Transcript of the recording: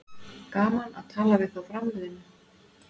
Gaman að tala við þá framliðnu